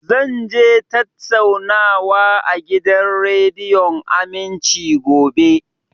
Zan je tattaunawa a gidan rediyon Aminci, gobe